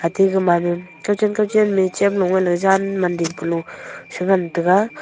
ate gamai ma kawchen kawchen ma a chem low negvleyvjan man dingpe low se ngan taga.